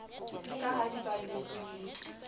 ka ha di balletswe ke